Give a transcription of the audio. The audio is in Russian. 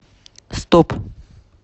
стоп